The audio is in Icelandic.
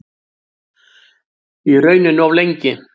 Í rauninni of lengi.